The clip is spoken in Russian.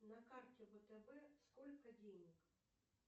на карте втб сколько денег